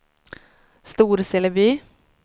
Storseleby